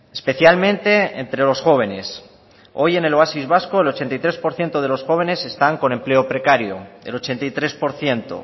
especialmente entre los jóvenes hoy en el oasis vasco el ochenta y tres por ciento de los jóvenes están con empleo precario el ochenta y tres por ciento